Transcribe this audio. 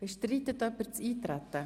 Bestreitet jemand das Eintreten?